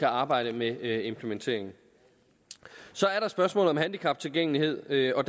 arbejde med implementeringen så er der spørgsmålet om handicaptilgængeligheden og